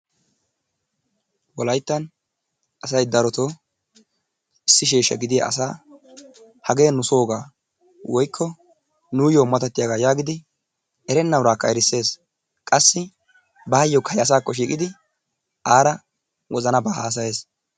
Wolayttan asay daroto issi sheeshsha gidiya asaa hagee nu sooga woyikko nuuyo matatiyaagaa yaagidi erenna uraakka erisses. Qassi baayyokka he asaakko shiiqidi aara wozanabaa haasayes.